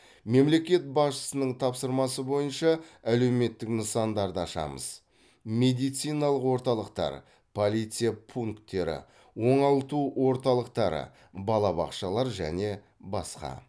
мемлекет басшысының тапсырмасы бойынша әлеуметтік нысандарды ашамыз медициналық орталықтар полиция пунктері оңалту орталықтары балабақшалар және басқа